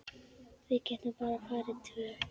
Við getum bara farið tvö.